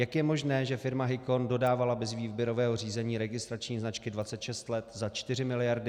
Jak je možné, že firma Hicon dodávala bez výběrového řízení registrační značky 26 let za 4 miliardy?